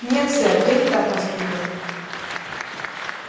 нет сэр я не так воспитан